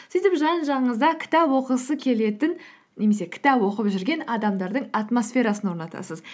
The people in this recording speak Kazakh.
сөйтіп жан жағыңызда кітап оқығысы келетін немесе кітап оқып жүрген адамдардың атмосферасын орнатасыз